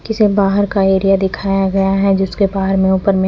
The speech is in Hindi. जिसे बाहर का एरिया दिखाया गया है जिसके बाहर में उपर में--